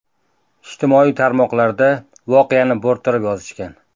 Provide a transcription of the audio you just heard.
Ijtimoiy tarmoqlarda voqeani bo‘rttirib yozishgan.